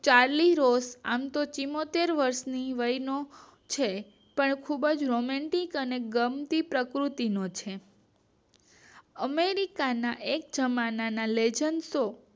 ચાલુ હોસ્ટ આમતો ચુંમોતેર વર્ષની છે પણ ખુબજ રોમેન્ટિક અને ગમતી પ્રકૃતિનો છે અમેરિકાના એક જમાનામાં લેજન શૉ